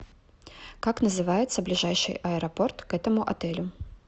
как называется ближайший аэропорт к этому отелю